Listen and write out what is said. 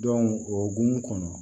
o hokumu kɔnɔ